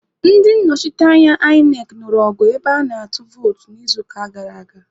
Ndị nnọchiteanya INEC nụrụ ọgụ ebe ana-atụ vootu n'izuụka gara aga.